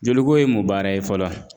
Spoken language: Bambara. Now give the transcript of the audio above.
Jeliko ye mun baara ye fɔlɔ,